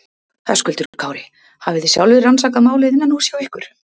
Höskuldur Kári: Hafi þið sjálfir rannsakað málið innanhúss hjá ykkur?